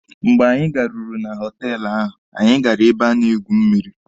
Mgbe anyị garuru na họtelụ ahụ, anyị gara ebe a na-egwu mmịrị.